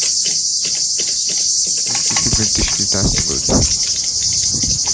лучшие фильмы две тысячи девятнадцатый год